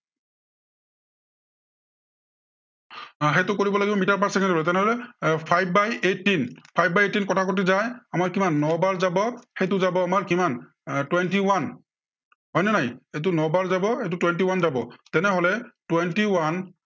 আহ সেইটো কৰিব লাগিব মিটাৰ per চেকেণ্ড হব। তেনেহলে, এৰ five by eighteen, five by eighteen কটাকটি যায়। আমাৰ কিমান ন বাৰ যাব, সেইটে যাব আমাৰ কিমান, এৰ twenty one হয় নে নাই। সেইটো ন বাৰ যাব এইটো twenty one যাব তেনেহলে twenty one